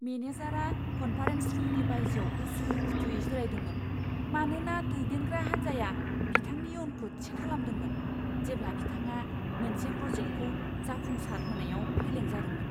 मेनेजारआ कन्फारेन्स रुमनि बायजोआव उसुखुथुयै जिरायदोंमोन, मानोना दैदेनग्रा हान्जाया बिथांनि इयुनखौ थि खालामदोंमोन, जेब्ला बिथाङा मोनसे प्रजेक्टखौ जाफुंसार होनायाव फेलें जादोंमोन।